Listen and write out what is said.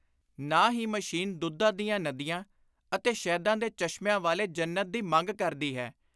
ਨਾ ਹੀ ਮਸ਼ੀਨ ਦੁੱਧਾਂ ਦੀਆਂ ਨਦੀਆਂ ਅਤੇ ਸ਼ਹਿਦਾਂ ਦੇ ਚਸ਼ਮਿਆਂ ਵਾਲੇ ਜੰਨਤ ਦੀ ਮੰਗ ਕਰਦੀ ਹੈ।